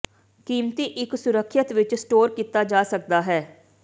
ਕੀਮਤੀ ਇੱਕ ਸੁਰੱਖਿਅਤ ਵਿੱਚ ਸਟੋਰ ਕੀਤਾ ਜਾ ਸਕਦਾ ਹੈ